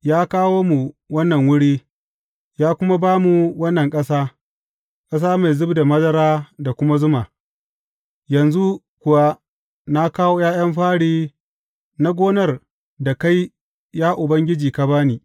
Ya kawo mu wannan wuri, ya kuma ba mu wannan ƙasa, ƙasa mai zub da madara da kuma zuma; yanzu kuwa na kawo ’ya’yan fari na gonar da kai, ya Ubangiji ka ba ni.